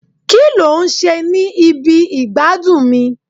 ki lo n ṣe ni ibi igbadun mi